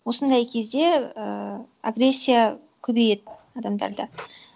осындай кезде ііі агрессия көбейеді адамдарда